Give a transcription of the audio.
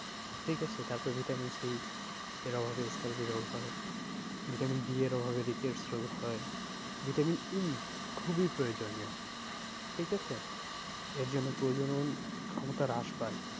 ঠিক আছে তারপর vitamin C এর অভাবে scurvy রোগ হয় vitamin D এর অভাবে rickets রোগ হয়। vitamin E খুবই প্রয়োজনীয় ঠিক আছে? এর জন্য প্রজনন ক্ষমতা হ্রাস পায়।